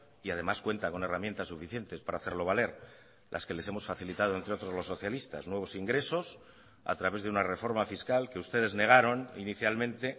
y además cuenta con herramientas suficientes para hacerlo valer las que les hemos facilitado entre otros los socialistas nuevos ingresos a través de una reforma fiscal que ustedes negaron inicialmente